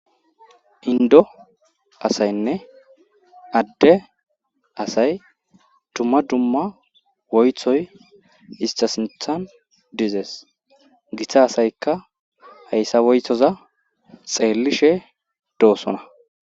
indo asaynne adde asay dumma dumma woythoy ista sinthan dizees githa asaykka hayssa woythoza xeellishe doosona